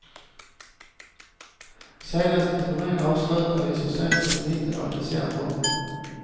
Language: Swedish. Senaste turnen avslutade vi så sent som i mitten av december.